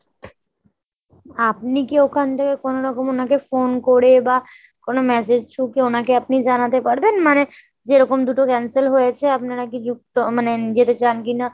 আপনি কী ওখান থেকে কোনোরকম ওনাকে phone করে বা কোনো massage কী ওনাকে আপনি জানাতে পারবেন ? মানে যে এরকম দুটো cancel হয়েছে আপনারা কি মানে যেতে চান কিনা ?